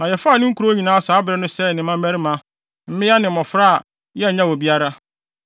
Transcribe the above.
Na yɛfaa ne nkurow nyinaa saa bere no sɛee ne mmarima, mmea ne mmofra a yɛannyaw obiara.